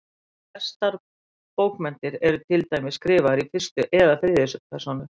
Flestar bókmenntir eru til dæmis skrifaðar í fyrstu eða þriðju persónu.